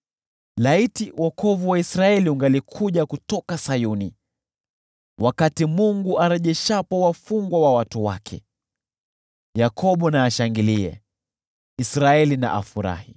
Laiti wokovu wa Israeli ungalikuja kutoka Sayuni! Wakati Mungu arejeshapo wafungwa wa watu wake, Yakobo na ashangilie, Israeli na afurahi!